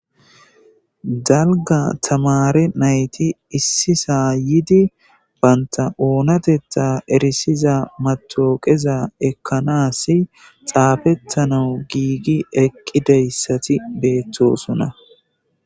Dalgga tamaare nayti issisa yiidi bantta oonateththa matawuqaza ekanas xaafetanaw giigi eqidayssi betees.